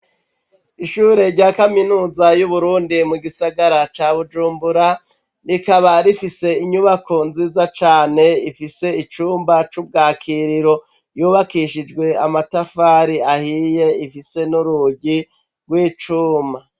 Ishure rya kaminuza y'uburundi mu gisagara ca bujumbura rikaba rifise inyubako nziza cane ifise icumba c'ubwakiriro yubakishijwe amatafari ahiye ifise n'urugi rw'icuma.